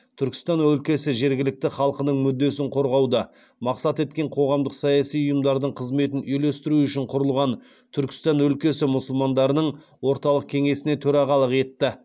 түркістан өлкесі жергілікті халқының мүддесін қорғауды мақсат еткен қоғамдық саяси ұйымдардың қызметін үйлестіру үшін құрылған түркістан өлкесі мұсылмандарының орталық кеңесіне төрағалық етті